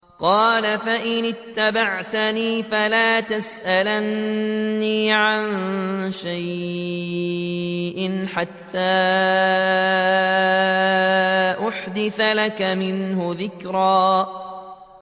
قَالَ فَإِنِ اتَّبَعْتَنِي فَلَا تَسْأَلْنِي عَن شَيْءٍ حَتَّىٰ أُحْدِثَ لَكَ مِنْهُ ذِكْرًا